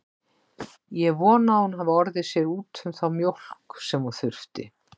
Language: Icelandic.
Ég vona að hún hafi orðið sér úti um þá mjólk sem hún þurfti.